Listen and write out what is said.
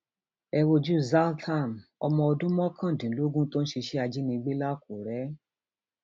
ẹ wojú zlatham ọmọ ọdún mọkàndínlógún tó ń ṣiṣẹ ajínigbé làkúrẹ